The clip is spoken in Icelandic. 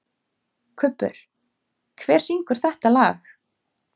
Kubbur, hver syngur þetta lag?